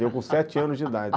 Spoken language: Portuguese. Eu com sete anos de idade.